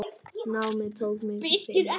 Námið tók mig fimm ár.